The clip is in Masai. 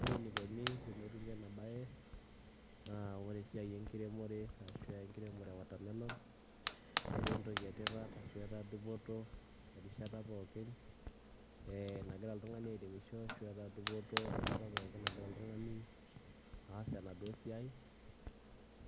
Ore enikoni tenetumi ena baye naa ore esiai enkiremore ashu enkiremore e watermelon, netaa entoki e tipat ashu etaa dupoto erishata pookin ee nagira oltung'ani airemisho ashu etaa dupoto enkata pookin nagira oltung'ani aas enaduo siai.